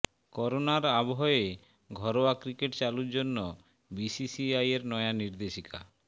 করোনার আবহে ঘরোয়া ক্রিকেট চালুর জন্য বিসিসিআইয়ের নয়া নির্দেশিকা